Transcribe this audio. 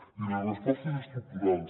i la resposta és estructural